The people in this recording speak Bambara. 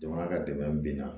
Jamana ka dɛmɛ bin na